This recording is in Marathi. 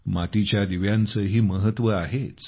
मातीच्या दिव्यांचेही महत्त्व आहेच